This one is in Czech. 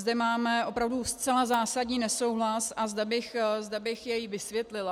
Zde máme opravdu zcela zásadní nesouhlas a zde bych jej vysvětlila.